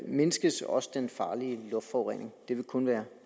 mindskes også den farlige luftforurening det vil kun være